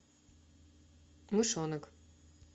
мышонок